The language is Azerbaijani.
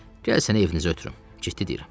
Gəl səni evinizə ötürüm, ciddi deyirəm.